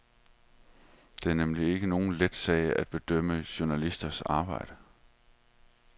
Det er nemlig ikke nogen let sag at bedømme journalisters arbejde.